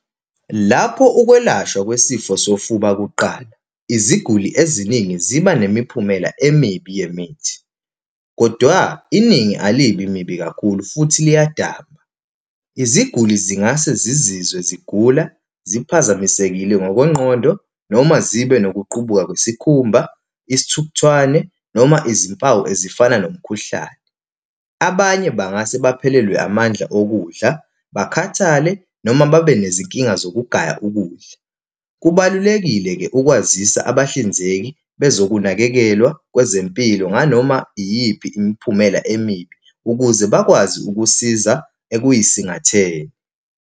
Lapho ukwelashwa kwesifo sofuba kuqala, iziguli eziningi ziba nemiphumela emibi yemithi, kodwa iningi alibi mibi kakhulu, futhi liyadamba. Iziguli zingase zizizwe zigula, ziphazamisekile ngokwengqondo, noma zibe nokuqubuka kwesikhumba, isithukuthwane, noma izimpawu ezifana nomkhuhlane. Abanye bangase baphelelwe amandla okudla, bakhathale, noma babe nezinkinga zokugaya ukudla. Kubalulekile-ke ukwazisa abahlinzeki bezokunakekelwa kwezempilo nganoma iyiphi imiphumela emibi ukuze bakwazi ukusiza ekuyisingatheni.